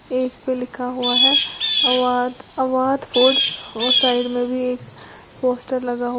cake पे लिखा हुआ है अवाध अवाध फूडस और साइड में भी एक पोस्टर लगा --